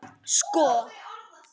Sko